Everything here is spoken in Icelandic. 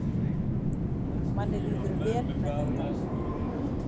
Manni líður vel með þetta